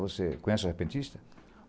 Você conhece o repentista?